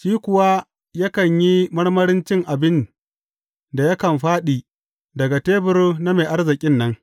Shi kuwa yakan yi marmarin cin abin da yakan fāɗi daga tebur na mai arzikin nan.